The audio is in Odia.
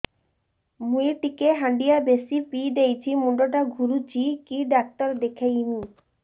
ମୁଇ ଟିକେ ହାଣ୍ଡିଆ ବେଶି ପିଇ ଦେଇଛି ମୁଣ୍ଡ ଟା ଘୁରୁଚି କି ଡାକ୍ତର ଦେଖେଇମି